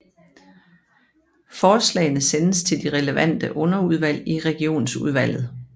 Forslagene sendes til de relevante underudvalg i Regionsudvalget